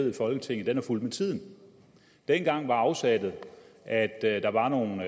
i folketinget er fulgt med tiden dengang var afsættet at at der var nogle